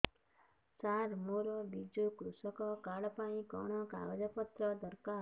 ସାର ମୋର ବିଜୁ କୃଷକ କାର୍ଡ ପାଇଁ କଣ କାଗଜ ପତ୍ର ଦରକାର